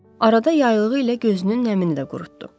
Arada yaylığı ilə gözünün nəmini də qurutdu.